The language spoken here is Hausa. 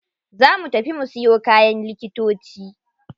Za mu tafi mu siyo kayan likitoci.